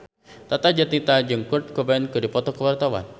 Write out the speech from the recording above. Tata Janeta jeung Kurt Cobain keur dipoto ku wartawan